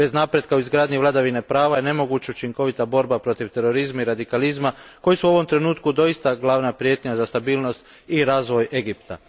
Bez napretka u izgradnji vladavine prava je nemoguća učinkovita borba u protiv terorizma i radikalizma koji su u ovom trenutku doista glavna prijetnja za stabilnost i razvoj Egipta.